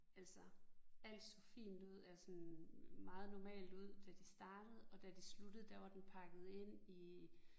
Altså alt så fint ud eller sådan meget normalt ud da de startede og da de sluttede der var den pakket ind i